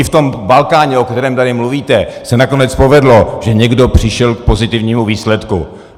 I v tom Balkáně, o kterém tady mluvíte, se nakonec povedlo, že někdo přišel k pozitivnímu výsledku.